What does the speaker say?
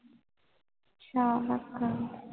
ਅੱਛਾ